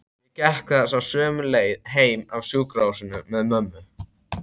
Ég gekk þessa sömu leið heim af sjúkrahúsinu með mömmu.